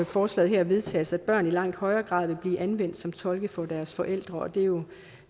forslaget her vedtages at børn i langt højere grad vil blive anvendt som tolke for deres forældre og det er jo